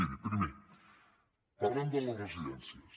miri primer parlem de les residències